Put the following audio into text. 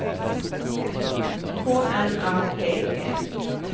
K N A P P